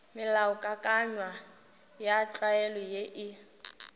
melaokakanywa ya tlwaelo ye e